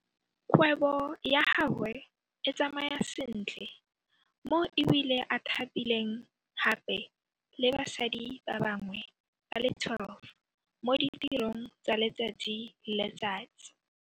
Kgwebo ya gagwe e tsamaya sentle mo e bile a thapileng gape le basadi ba bangwe ba le 12 mo ditirong tsa letsatsi le letsatsi.